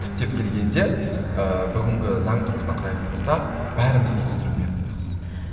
түптеп келгенде ыыы бүгінгі заң тұрғысынан қарайтын болсақ бәріміз инстументпіз